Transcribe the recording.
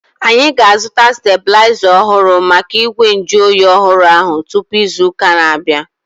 Anyị ga-azuta stebulaiza ọhụrụ maka igwe nju oyi ọhụrụ ahu tupu ịzụ ụka na-abianu